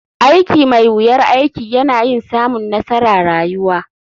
Aiki mai wuyar aiki yana yin samun nassara rayuwa.